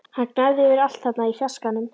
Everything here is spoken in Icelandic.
Hann gnæfði yfir allt þarna í fjarskanum!